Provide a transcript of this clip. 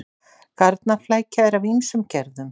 Garnaflækja er af ýmsum gerðum.